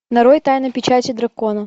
нарой тайна печати дракона